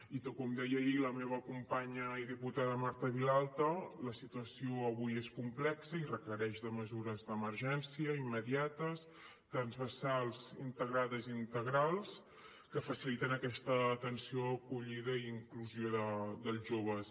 i com deia ahir la meva companya i diputada marta vilalta la situació avui és complexa i requereix mesures d’emergència immediates transversals integrades i integrals que facilitin aquesta atenció acollida i inclusió dels joves